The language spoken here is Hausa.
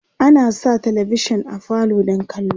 ana Sa talavishan a falo don kallo